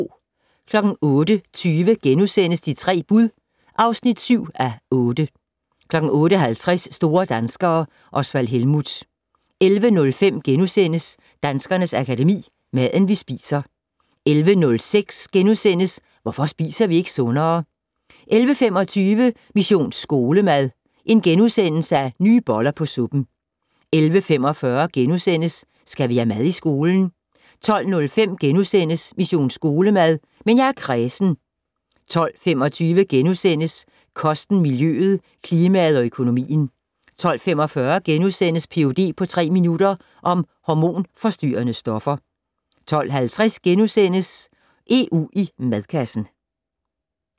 08:20: De tre bud (7:8)* 08:50: Store danskere - Osvald Helmuth 11:05: Danskernes Akademi: Maden, vi spiser * 11:06: Hvorfor spiser vi ikke sundere? * 11:25: Mission Skolemad: Nye boller på suppen * 11:45: Skal vi have mad i skolen? * 12:05: Mission Skolemad: Men jeg er kræsen * 12:25: Kosten, miljøet, klimaet og økonomien * 12:45: Ph.d. på tre minutter - om hormonforstyrrende stoffer * 12:50: EU i madkassen *